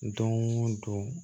Don o don